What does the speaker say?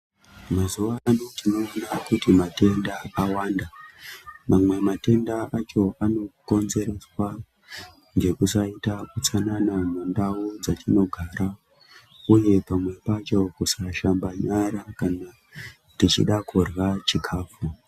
Mazuva ano tinoona kuti matenda awanda mamwe matenda acho anokonzerwa ngekusaita utsanana mumandau dzatinogara, uye pamwe pacho kusashamba nyara kana tichida kurya chikafu.